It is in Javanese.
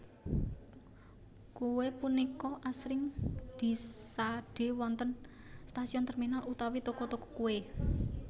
Kuwe punika asring disade wonten stasiun terminal utawi toko toko kuwe